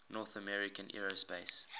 north american aerospace